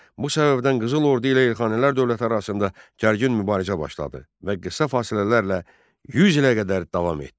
Bu səbəbdən Qızıl Ordu ilə Elxanilər dövləti arasında gərgin mübarizə başladı və qısa fasilələrlə 100 ilə qədər davam etdi.